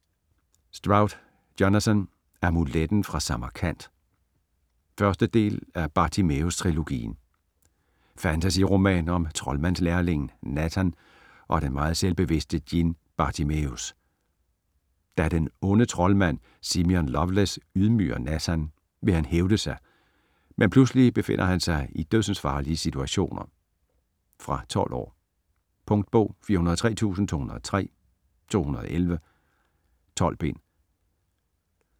Stroud, Jonathan: Amuletten fra Samarkand 1. del af Bartimæus trilogien. Fantasy-roman om troldmandslærlingen Nathan og den meget selvbevidste djinn Bartimæus. Da den onde troldmand, Simion Lovelace ydmyger Nathan, vil han hævne sig, men pludselig befinder han sig i dødsensfarlige situationer. Fra 12 år. Punktbog 403203 2011. 12 bind.